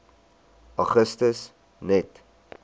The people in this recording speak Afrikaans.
augustus net